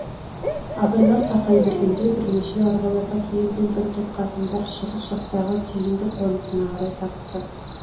абайлар тақай бергенде бірнеше арбаларға тиелген бір топ қатындар шығыс жақтағы сүйндік қонысына қарай тартты